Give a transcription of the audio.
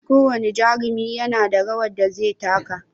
Ko wane jarumi nada rawar da zai taka